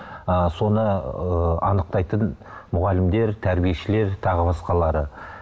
ы соны ыыы анықтайтын мұғалімдер тәрбиешілер тағы басқалары